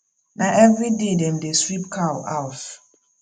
na everyday dem dey sweep cow house